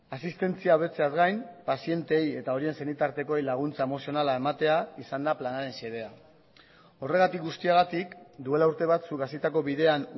asistentzia hobetzeaz gain pazienteei eta horien senitartekoei laguntza emozionala ematea izan da planaren xedea horregatik guztiagatik duela urte batzuk hasitako bidean